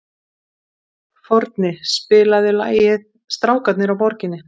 Forni, spilaðu lagið „Strákarnir á Borginni“.